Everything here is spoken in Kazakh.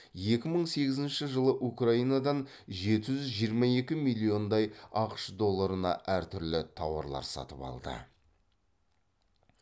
екі мың сегізінші жылы украинадан жеті жүз жиырма екі миллиондай ақш долларына әртүрлі тауарлар сатып алды